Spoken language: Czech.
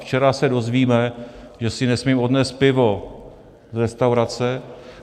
Včera se dozvíme, že si nesmím odnést pivo z restaurace.